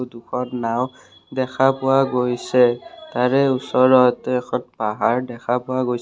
দুখন নাওঁ দেখা পোৱা গৈছে তাৰে ওচৰত এখন পাহাৰ দেখা পোৱা গৈছে।